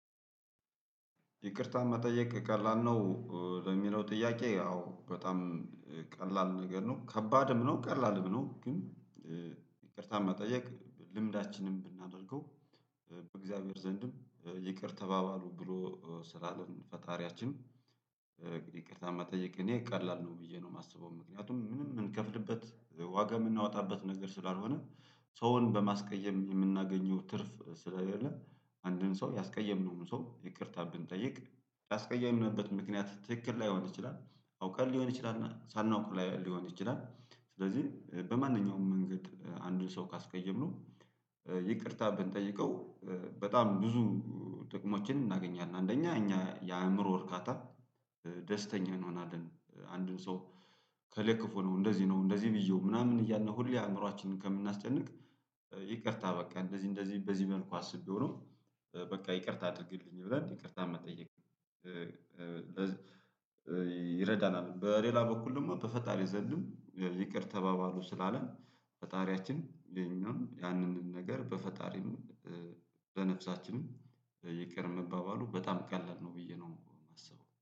ይቅርታ መጠየቅ ቀላል ነው። ለሚለው ጥያቄ አዎ በጣም ቀላል ነገር ነው። ከባድም ነው ቀላልም ነው። ግን ይቅርታ መጠየቅ ልምዳችንን ብናደርገው በእግዚአብሔር ዘንድም ይቅር ተባባሉ ብሎ ስላለ ፈጣሪያችን። ይቅርታ መጠየቅ እኔ ቀላል ነው ብዬ ነው የማስበው። ምክንያቱም ምንም የምንከፍልበት ዋጋ የምናወጣበት ነገር ስላልሆነ። ሰውን በማስቀየም የምናገኘው ትርፍ ስለሌለ። አንድን ሰው ያስቀየምነውን ሰው ይቅርታ ብንጠይቅ ያስቀየምነበት ምክንያት ትክክል ላይሆን ይችላል። አውቀን ሊሆን ይችላል ሳናውቅ ሊሆን ይችላል። ስለዚህ በማንኛውም መንገድ አንድን ሰው ካስቀየምነው ይቅርታ ብንጠይቀው። በጣም ብዙ ጥቅሞችን እናገኛለን። አንደኛ እኛ የአእምሮ እርካታ ደስተኛ እንሆናለን። አንድን ሰው ከለክፎ ነው እንደዚህ ነው እንደዚህ ብዬው ምናምን እያልን ሁሌ አእምሮአችንን ከምናስጨንቅ። ይቅርታ በቃ እንደዚህ እንደዚህ በዚህ መልኩ አስቤው ነው። በቃ ይቅርታ አድርግልኝ ብለን ይቅርታ መጠየቅ ይረዳናል። በሌላ በኩል ደግሞ በፈጣሪ ዘንድም ይቅር ተባባሉ ስላለ ፈጣሪያችን የኛም ያንንም ነገር በፈጣሪም በነፍሳችንም ይቅር መባባሉ በጣም ቀላል ነው። ብዬ ነው የማስበው